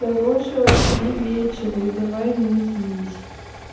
хорошего тебе вечера и давай не злись